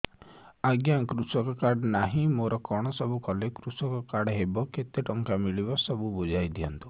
ଆଜ୍ଞା କୃଷକ କାର୍ଡ ନାହିଁ ମୋର କଣ ସବୁ କଲେ କୃଷକ କାର୍ଡ ହବ କେତେ ଟଙ୍କା ମିଳିବ ସବୁ ବୁଝାଇଦିଅନ୍ତୁ